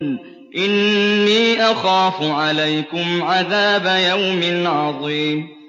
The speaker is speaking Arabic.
إِنِّي أَخَافُ عَلَيْكُمْ عَذَابَ يَوْمٍ عَظِيمٍ